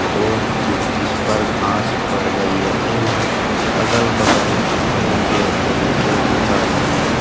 और बहुत इस पर घास बढ़ गई है एवं अगल-बगल बहुत पेड़-पौधे एवं झाड़ियां है।